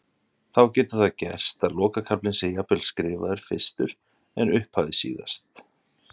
þá getur það gerst að lokakaflinn sé jafnvel skrifaður fyrstur en upphafið síðast